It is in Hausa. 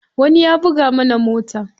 Wani ya buga mana mota.